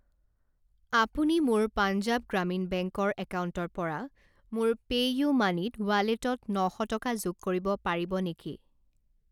আপুনি মোৰ পাঞ্জাৱ গ্ৰামীণ বেংক ৰ একাউণ্টৰ পৰা মোৰ পেইউমানিৰ ৱালেটত ন শ টকা যোগ কৰিব পাৰিব নেকি?